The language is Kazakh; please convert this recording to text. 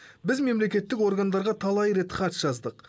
біз мемлекеттік органдарға талай рет хат жаздық